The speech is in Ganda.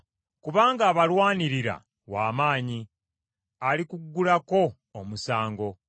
kubanga abalwanirira w’amaanyi, alikuggulako omusango.